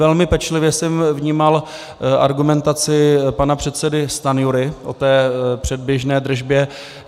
Velmi pečlivě jsem vnímal argumentaci pana předsedy Stanjury o té předběžné držbě.